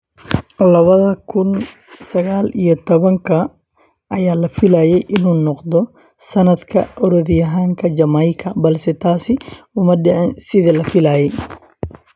Labada kun sagal iyo tobanka ayaa la filayey inuu noqdo sanadka orodyahanka Jamaica balse taasi uma dhicin sidii la filayey.